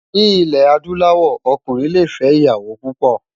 Ni ilè àdúláwò òkúnrin lé fè iyàwó púpò